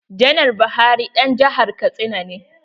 Janar Buhari ɗan jihar katsina ne.